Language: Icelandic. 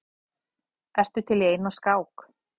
Ertu til í eina skák?